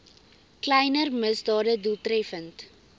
kleiner misdade doeltreffend